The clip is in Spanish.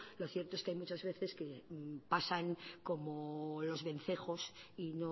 lo cierto es que hay muchas veces que pasan como los vencejos y